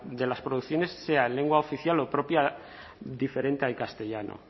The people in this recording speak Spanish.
de las producciones sea en lengua oficial o propia diferente al castellano